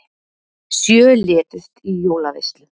Sjö létust í jólaveislu